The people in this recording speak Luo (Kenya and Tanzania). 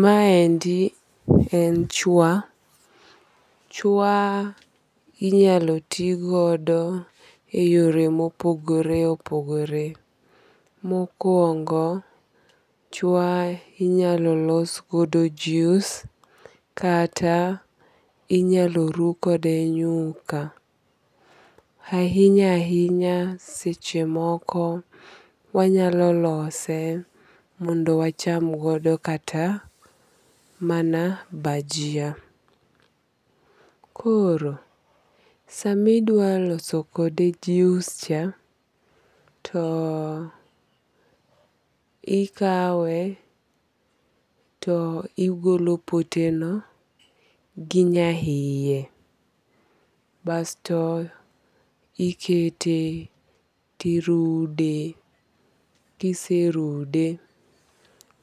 Maendi en chwa. Chwa inyalo ti godo e yore ma opogore opogore. Mokuongo, chwa inyalo los kode jus kata inyalo ru kode nyuka. Ahinya ahinya seche moko wanyalo lose mondo wacham godo kata mana bajia. Koro sami dwa loso kode jius cha, to ikawe to igolo pote no gi nyahiye. Basto ikete tirude. Kiserude,